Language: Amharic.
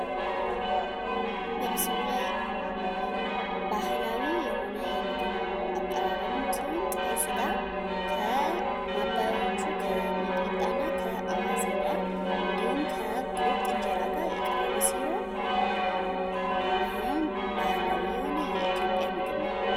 በምስሉ ላይ ባህላዊ የሆነ የምግብ አቀራረብ ሲሆን ጥሬ ስጋ ከማባያዎቹ ከሚጥሚጣ እና ከ አዋዘ ጋ እንዲሁም ከ ቁርጥ እንጀራ ጋር የቀረበ ሲሆን ይህም ባህላዊ የሆነ የኢትዮጵያ ምግብ ነው።